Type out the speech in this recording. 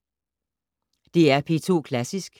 DR P2 Klassisk